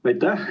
Aitäh!